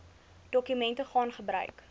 dokumente gaan gebruik